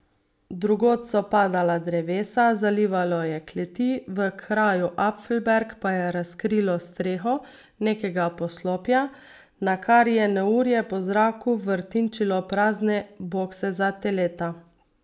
Drugod so padala drevesa, zalivalo je kleti, v kraju Apfelberg pa je razkrilo streho nekega poslopja, nakar je neurje po zraku vrtinčilo prazne bokse za teleta.